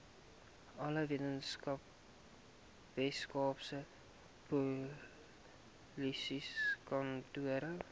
alle weskaapse polisiekantore